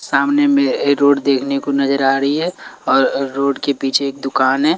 सामने में रोड देखने को नजर आ रही है और रोड के पीछे एक दुकान है।